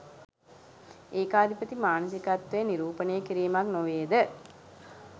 ඒකාධිපති මානසිකත්වය නිරූපණය කිරීමක් නොවේද?